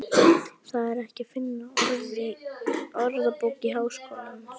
Það er ekki að finna í Orðabók Háskólans.